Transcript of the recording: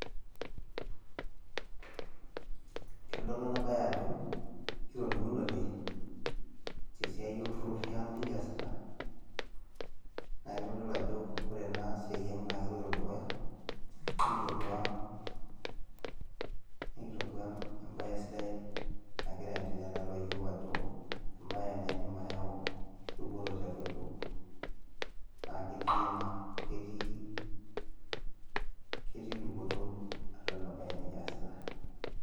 Keitodolu ena baye ajo kitoning'ote tesiai olturur oshi nikiasita naa keitodolu ajo ore ena siai ang naa keloito dukuya nikitodua embaye sidai nagiraa aaendelea tiatua iyiook ajo embae naaidim ayau dupoto tiatua iyiook naa ketii ina ketii dupoto atua ena baye nikiasita.